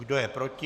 Kdo je proti?